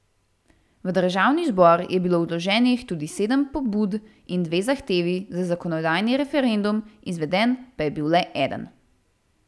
V državni zbor je bilo vloženih tudi sedem pobud in dve zahtevi za zakonodajni referendum, izveden pa je bil le eden.